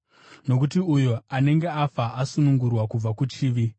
nokuti uyo anenge afa asunungurwa kubva kuchivi.